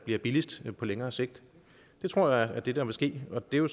bliver billigst på længere sigt det tror jeg er det der vil ske og det er jo